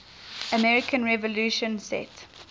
american revolution set